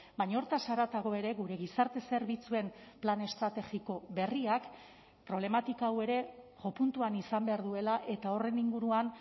baina horretaz haratago ere gure gizarte zerbitzuen plan estrategiko berriak problematika hau ere jopuntuan izan behar duela eta horren inguruan